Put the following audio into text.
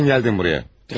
Niyə gəldin buraya?